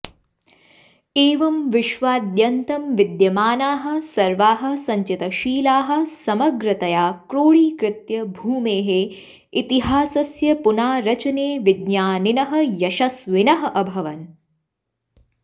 एवं विश्वाद्यन्तं विद्यमानाः सर्वाः सञ्चितशिलाः समग्रतया क्रोढीकृत्य भूमेः इतिहासस्य पुनारचने विज्ञानिनः यशस्विनः अभवन्